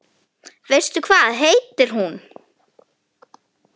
Veistu hvað heitir hún?